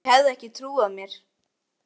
Þær hefðu ekki trúað mér.